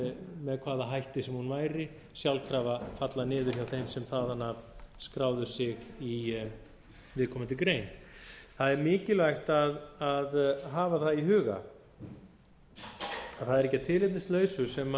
með hvaða hætti sem hún væri sjálfkrafa falla niður hjá þeim sem þaðan af skráðu sig í viðkomandi grein það er mikilvægt að hafa það í huga að það er ekki að tilefnislausu sem